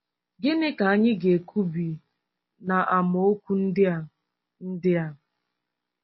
Gịnị ka anyị ga-ekwubi n’amaokwu ndị a? ndị a?